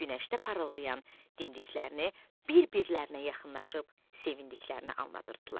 Günəşdə parıldayan dimdiklərini bir-birlərinə yaxınlaşıb sevindiklərini anlatırdılar.